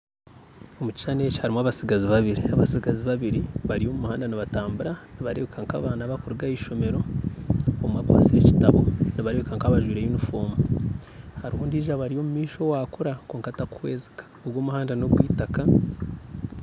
Omu kishuushani eki harimu abatsigazi babiri bari omu muhanda nibatambuura barikureebeka nka abaana bakuruga aha ishomero omwe akwase ekitabo nibareebeka nka abajwire yunifoomu hariho ondiijo obari omumaisho owakuura kwonka takuhwezika ogwo omuhanda n'ogwitaaka